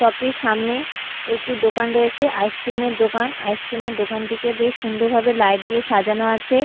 সপ -টির সামনে একটি দোকান রয়েছে আইসক্রিম এর দোকান আইসক্রিম -এর দোকানটিকে বেশ সুন্দরভাবে লাইট দিয়ে সাজানো আছে।